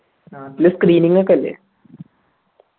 നാട്ടിൽ screening ഒക്കെ ഇല്ലെ